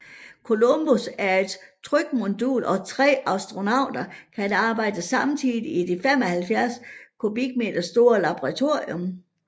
Columbus er et trykmodul og tre astronauter kan arbejde samtidigt i det 75 m3 store laboratorium